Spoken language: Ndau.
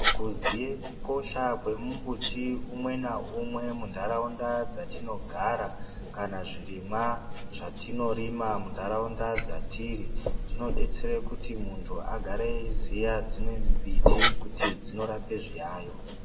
Kuziya kukosha kwemumbuti umwe naumwe munharaunda dzatinogara kana zvirimwa zvatinorima munharaunda dzatiri zvinodetsera kuti muntu agare eiziya dzimwe mbiti kuti dzinorape zviyayo